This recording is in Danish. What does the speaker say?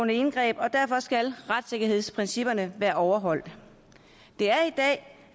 indgreb og derfor skal retssikkerhedsprincipperne være overholdt det er